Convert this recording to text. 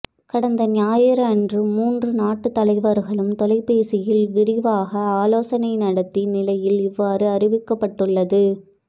கடந்த ஞாயிறன்று மூன்று நாட்டு தலைவர்களும் தொலைபேசியில் விரிவாக ஆலோசனை நடத்திய நிலையில் இவ்வாறு தெரிவிக்கப்பட்டுள்ளது